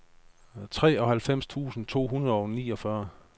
treoghalvfems tusind to hundrede og niogfyrre